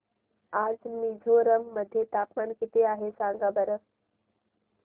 आज मिझोरम मध्ये तापमान किती आहे सांगा बरं